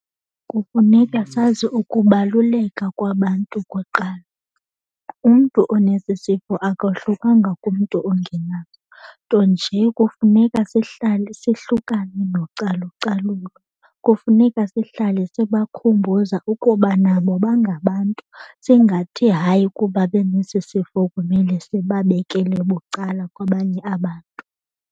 Kufuneka sazi ukubaluleka kwabantu kuqala. Umntu onesi sifo akohlukanga kumntu ongenaso, nto nje kufuneka sihlale sihlukane nocalucalulo. Kufuneka sihlale sibakhumbuza ukuba nabo bangabantu singathi hayi kuba benesisifo kumele sibabekele bucala kwabanye abantu.